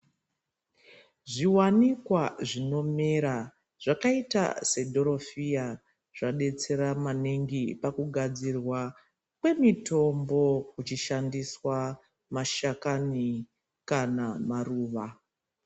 Zviwanikwa zvinomera zvakaita sedhorofiya zvadetsera maningi pakugadzirwa kwemitombo kuchishandiswa mashakani kana maruwa.